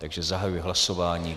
Takže zahajuji hlasování.